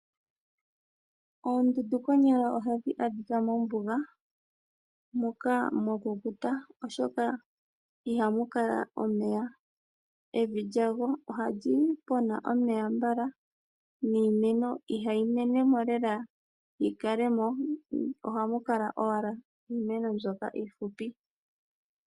Oondundu konyala ohadhi adhika mombuga moka mwakukuta oshoka ihamu kala omeya . Evi lyago ohali pona omeya mbala niimeno ihayi menemo lela yi kalemo ohamu kala owala iimeno mbyoka iihupi